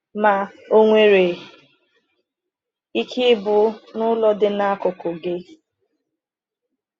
Ma o nwere ike ịbụ n’ụlọ dị n’akụkụ gị.”